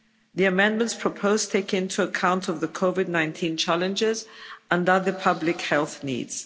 The amendments proposed take into account the COVID 19 challenges and other public health needs.